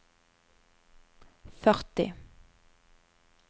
førti